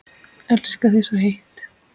Elska þig svo heitt.